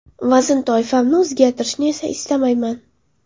Vazn toifamni o‘zgartirishni esa istamayman.